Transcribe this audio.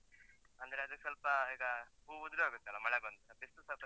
ಅಂದ್ರೆ ಅದೆ ಸ್ವಲ್ಪ ಈಗ ಹೂ ಉದುರಿ ಹೋಗುತ್ತಲ್ಲ ಮಳೆ ಬಂದ್ರೆ, ಬಿಸ್ಲು ಸ್ವಲ್ಪ ಜಾ.